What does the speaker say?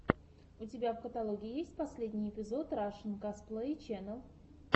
у тебя в каталоге есть последний эпизод рашэн косплей ченел